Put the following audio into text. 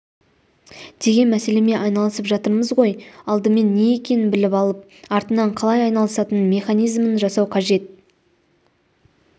деген мәселемен айналысып жатырмыз ғой алдымен не екенін біліп алып артынан қалай айналысатын механизмін жасау қажет